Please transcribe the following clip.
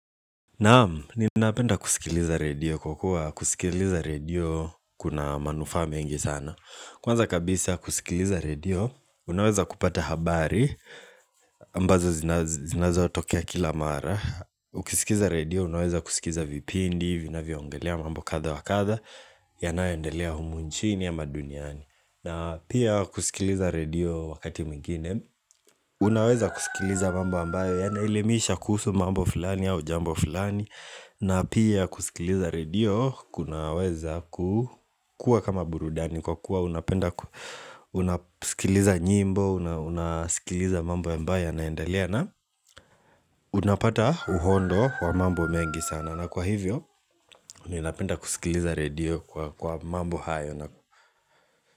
Naamu, ninapenda kusikiliza redio kwa kuwa kusikiliza redio kuna manufaa mingi sana Kwanza kabisa kusikiliza redio, unaweza kupata habari ambazo zinazotokea kila mara Ukisikiza redio, unaweza kusikiza vipindi, vinavyoongelea mambo kadha wa kadha yanayoendelea humu nchini ama duniani na pia kusikiliza redio wakati mwingine Unaweza kusikiliza mambo ambayo yanaelimisha kuhusu mambo fulani au jambo fulani na pia kusikiliza redio kunaweza kukua kama burudani Kwa kuwa unapenda unasikiliza nyimbo Unasikiliza mambo ambayo yanaendelea na unapata uhondo wa mambo mengi sana na kwa hivyo ninapenda kusikiliza redio kwa mambo hayo.